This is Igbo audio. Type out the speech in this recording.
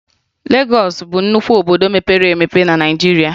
Legọọsụ bụ nnukwu obodo mepere emepe na Naịjirịa